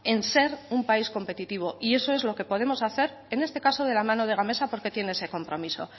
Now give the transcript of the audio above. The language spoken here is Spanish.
en ser un país competitivo y eso es lo que podemos hacer en este caso de la mano de gamesa porque tiene ese compromiso